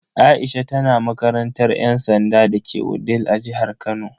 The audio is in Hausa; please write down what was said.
Aisha tana makarantar yan sanda dake Wudil a jihar Kano.